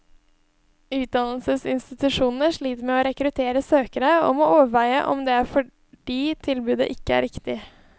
Utdannelsesinstitusjonene sliter med å rekruttere søkere, og må overveie om det er fordi tilbudet ikke er riktig.